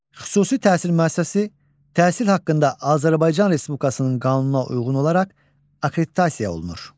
Xüsusi təhsil müəssisəsi təhsil haqqında Azərbaycan Respublikasının qanununa uyğun olaraq akkreditasiya olunur.